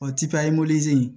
O ti papiye in